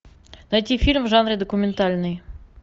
найти фильм в жанре документальный